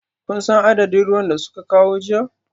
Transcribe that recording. Kun san adadin ruwan da suka kawo jiya?